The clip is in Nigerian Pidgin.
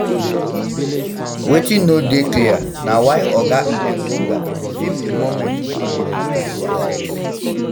wetin no dey clear na why oga engonga feem di moments wey dem dey do kerewa sex